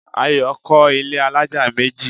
Ayo kọ́ ilẹ́ alájà méjì